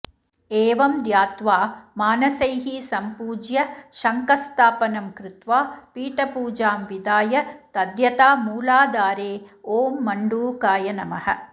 एवं ध्यात्वा मानसैः सम्पूज्य शङ्खस्थापनं कृत्वा पीठपूजां विधाय तद्यथा मूलाधारे ॐ मण्डूकाय नमः